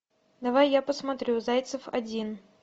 давай я посмотрю зайцев один